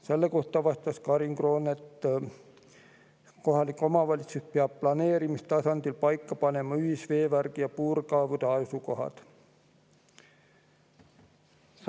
Selle kohta vastas Karin Kroon nii, et kohalik omavalitsus peab planeerimistasandil paika panema ühisveevärgi ja puurkaevude asukohad.